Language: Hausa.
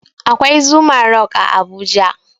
Akwai zuma rock a abuja